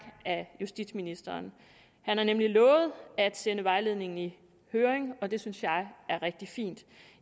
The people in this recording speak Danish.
af justitsministeren han har nemlig lovet at sende vejledningen i høring og det synes jeg er rigtig fint